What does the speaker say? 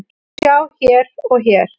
Sjá hér og hér.